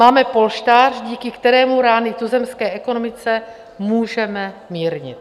Máme polštář, díky kterému rány tuzemské ekonomice můžeme mírnit.